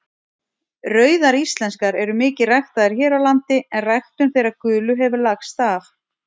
Rauðar íslenskar eru mikið ræktaðar hér á landi en ræktun þeirra gulu hefur lagst af.